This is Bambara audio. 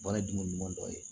Baara ye dumuni ɲuman dɔ ye